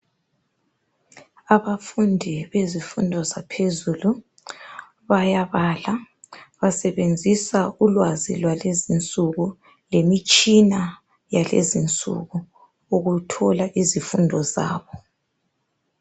Abafundi bezifundo zaphezulu bayabala basebenzisa ulwazi lwalezinsuku lemitshina yalezinsuku ukuthola izifundo zabo